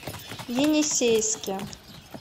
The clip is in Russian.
енисейске